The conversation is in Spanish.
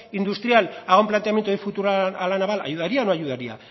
industrial haga un planteamiento de futuro a la naval ayudaría o no ayudaría